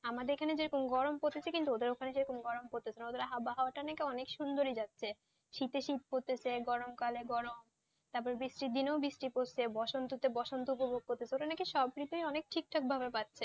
আমাদের এখানে যেমন গরম পরছে কিন্তু ওদের সেখানে গরম পরছে না ওদের আবহাওয়াটা নাকি অনেক সুন্দর যাচ্ছে শীতে শীত পড়ছে গরম কালে গরম, তারপর বৃষ্টির দিনে বৃষ্টি পড়ছে, বসন্ত তে নাকি বসন্ত উপভোগ করছে ওরা নাকি সব ঋতুই অনেক ঠিকঠাক পাচ্ছে,